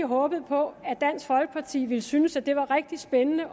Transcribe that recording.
håbet på at dansk folkeparti ville synes det var rigtig spændende